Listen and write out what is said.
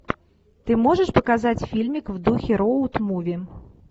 ты можешь показать фильмик в духе роуд муви